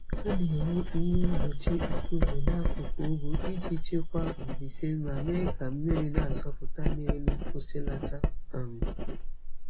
Ha na-ewu ihe mgbochi nkume n'akụkụ ugwu iji chịkwaa mbuze ma mee ka mmiri na-asọpụta n'elu kwụsịlata. um